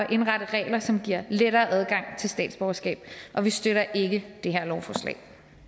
og indrette regler som giver lettere adgang til statsborgerskab og vi støtter ikke det her lovforslag